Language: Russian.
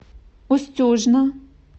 устюжна